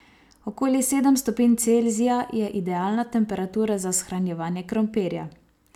Okoli sedem stopinj Celzija je idealna temperatura za shranjevanje krompirja.